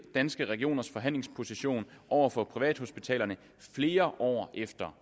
danske regioners forhandlingsposition over for privathospitalerne flere år efter